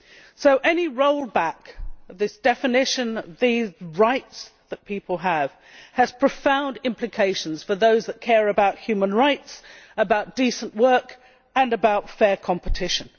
So any rollback of the definition of these rights that people have has profound implications for those who care about human rights, about decent work and about fair competition.